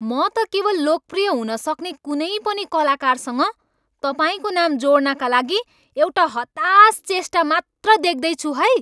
म त केवल लोकप्रिय हुन सक्ने कुनै पनि कलाकारसँग तपाईँको नाम जोड्नका लागि एउटा हतास चेष्टा मात्र देख्दैछु है।